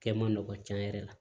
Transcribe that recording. Kɛ man nɔgɔ cɛn yɛrɛ la